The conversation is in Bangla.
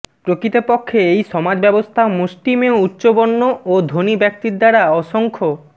প্রকৃতপক্ষে এই সমাজব্যবস্থা মুষ্টিমেয় উচ্চবর্ণ ও ধনি ব্যক্তির দ্বারা অসংখ্য